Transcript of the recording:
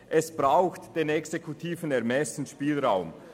Es braucht den exekutiven Ermessensspielraum.